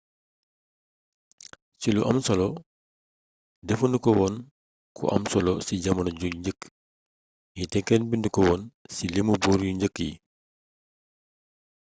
ci lu am solo defu nu ko woon ku am solo ci jamono yu njëkk yi te kenn bindu ko woon ci limu buur yu njëkk yi